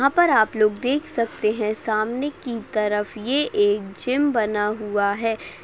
यहाँ पर आप लोग देख सकते है सामने की तरफ ये एक जिम बना हुआ है।